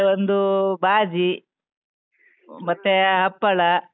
ಮತ್ತೆ ಒಂದು ಬಾಜಿ, ಮತ್ತೆ ಹಪ್ಪಳ.